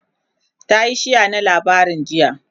tayi share na labarin jiya